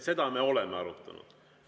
Seda me oleme arutanud.